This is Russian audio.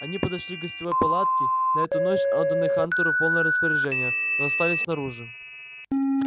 они подошли к гостевой палатке на эту ночь отданной хантеру в полное распоряжение но остались снаружи